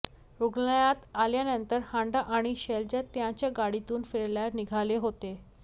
रुग्णालयात आल्यानंतर हांडा आणि शैलजा त्यांच्या गाडीतून फिरायला निघाले होते